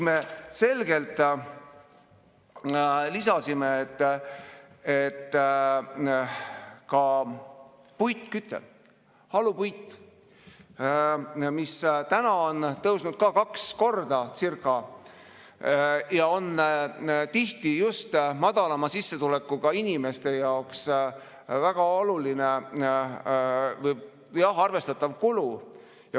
Me selgelt lisasime, et ka puidukütte, halupuidu on tõusnud umbes kaks korda ja see on tihti just madalama sissetulekuga inimeste jaoks väga oluline, arvestatav kulu.